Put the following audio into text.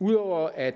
ud over at